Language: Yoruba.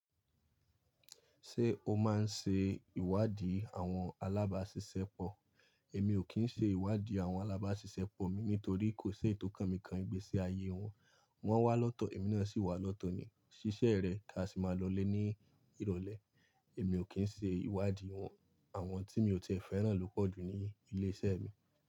Ṣé o máa ń ṣe ìwádìí àwọn alábáṣiṣẹ́ pọ̀? Èmi ò kí ń ṣe ìwádìí àwọn alábáṣiṣẹ́ pọ̀ mi nítorí kò ṣe é tó kàn mi kan igbe sí aye wọn. Wọ́n wá lọ́tọ̀, èmi náà sì wá lọ́tọ̀ ni. Ṣíṣe rẹ̀ ká a sì máa lọlé ní ìrọ̀lẹ́. Èmi ò kí ń ṣe ìwádìí àwọn tí mi ò tíì ẹ fẹ́ràn lò pọ̀ jù ní ilé iṣẹ́ mi.